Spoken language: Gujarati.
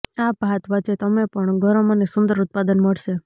આ ભાત વચ્ચે તમે પણ ગરમ અને સુંદર ઉત્પાદન મળશે